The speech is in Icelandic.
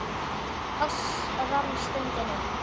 Loks rann stundin upp.